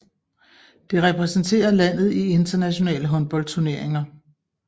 Det repræsenterer landet i internationale håndboldturneringer